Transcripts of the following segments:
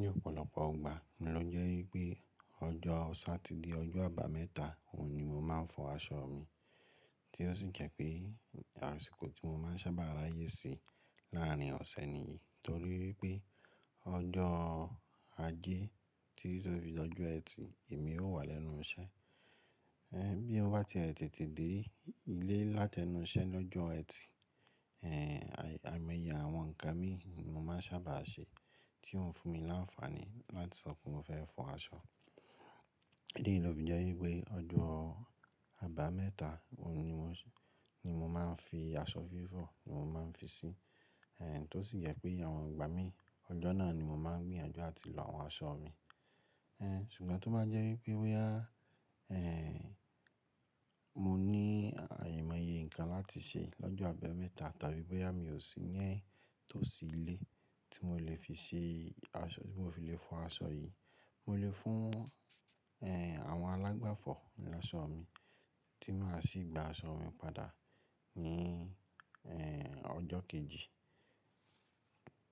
Ní ọ̀pọ̀lọpọ̀ ogbà, mo ló jẹ́ ípé ọjọ́ Satide ọjọ́ àbámẹ́ta, òhun ni mo máa ń fọ aṣọ mi, tí ó sì jẹ́ pé àrẹsìkò tí mo máa ń sábà ráyè sí láàrin ọ̀sẹ̀ nìyen. Torí pé ọjọ́ ajé títi tó fi di ọ́jọ́ Ẹtì, èmi ó wà lẹ́nu iṣẹ́. Ẹ̀ bí èèyàn bá tiẹ̀ tètè dé ilé láti ẹnu iṣẹ́ lọ́jọ́ Ẹtì, ẹ̀ ài, àìmọye àwọn ǹnkan mi mo máa ń sábà ṣe, tí ó ń fún mi láńfààní láti sọ pé mo fẹ́ fọ aṣọ. Eléyìí ni ó fi jẹ́ ípé ọjọ́ àbámẹ́ta, òun ni mo ni mo máa ń fi aṣọ fífọ̀, ni mo máa ń fi sí. Ẹ̀ tó sì yẹ́ pé àwọn ìgbà mi, ọjọ́ náà ni mo máa ń gbìyànjú áti lọ àwọn aṣọ mi. Ẹ̀ ṣùgbọ́n tó bá jẹ́ ípé bóyá, ẹ̀ mo ní à aimọye ǹnkan láti ṣe lọ́jọ́ àbámẹ́ta tàbí bóyá mi ò sí yẹn tó sì ilé tí mo lè fi ṣe aṣọ tí mo fi lè fọ aṣọ yìí, mo lè fún ẹ̀ àwọn alágbàfọ̀ ní aṣọ mi, tí máa sì gba aṣọ mi padà ní ẹ̀ ọjọ́ kejì.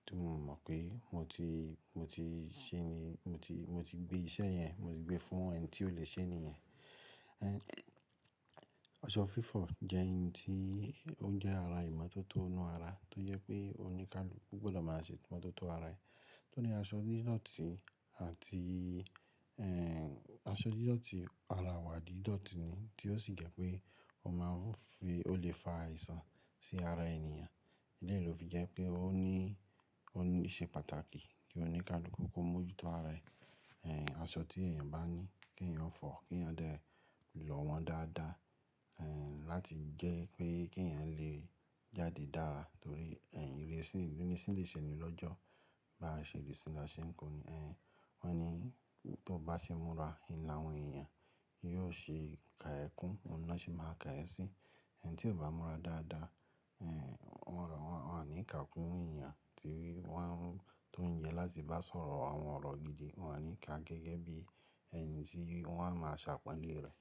Tí mo mọ̀ pé mo ti mo ti ṣe ni mo ti mo ti gbé iṣẹ́ yẹn, mo ti gbé fún ẹni tí ó lè ṣe nìyẹn. Ẹ̀ aṣọ fífọ̀ jẹ́ ǹ tí ó n jẹ́ ara ìmotótó inú ara, tó yẹ pé óníkáluku gbọ́dọ̀ máa ṣe imototọ̀ ara ẹ. Tó ní aṣọ dídọ̀ọ̀tí àti ẹ̀ aṣọ dídọ̀ọ̀tí ara wà dídọ̀ọ̀tí ni, tí ó sì jẹ́ pé ó máa ń fi ó lè fa àìsàn sí ara ènìyàn. Béyen ló fi jẹ́ pé ó ní ó ní íṣe pàtàkì kí oníkálukú kó mójútó ara ẹ. Ẹ̀ aṣọ tí èèyàn bá ní kí èèyàn fọ̀, kí èèyàn dẹ̀ lọ wọ́n dáadáa, ẹ̀ láti jẹ́ pé kí èèyàn lè jáde dára. Ntorí ẹ̀ ìrẹsì ni sì lè ṣe ènì lọ́jọ́. Bá ṣe dẹsì laṣẹ nǹkan, ẹ̀ wọ́n ní tó bá ṣe múra n lá àwọn èèyàn yóò ṣe ka ẹ kún, òun náà sì máa ka ẹ sí. Ẹ̀ni tí ó bá múra dáadáa, ẹ̀ wọ́n rọ wọ́n wọ́n á ní ìkà kún èèyàn, torí wọ́n tò ń jẹ láti bá sọ̀rọ̀ àwọn ọ̀rọ̀ gidi, wọ́n á ní ìkà gẹ́gẹ́ bí ẹ̀ni tí wọ́n á máa ṣàpọ́nlé rẹ̀.